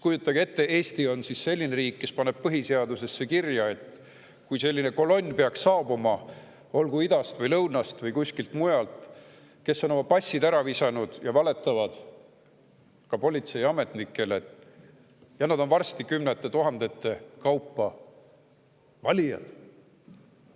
Kujutage siis ette, et Eesti on selline riik, kes paneb põhiseadusesse kirja, et kui peaks saabuma selline kolonn, olgu idast või lõunast või kuskilt mujalt, kes on oma passid ära visanud ja valetavad ka politseiametnikele, siis on meil varsti kümnete tuhandete kaupa valijaid.